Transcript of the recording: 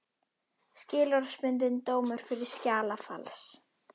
Skilorðsbundinn dómur fyrir skjalafals